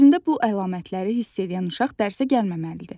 Özündə bu əlamətləri hiss eləyən uşaq dərsə gəlməməlidir.